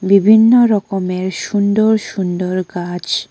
বিভিন্ন রকমের সুন্দর সুন্দর গাছ।